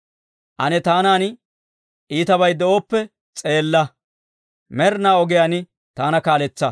Ane taanan iitabay de'ooppe s'eella; med'inaa ogiyaan taana kaaletsa.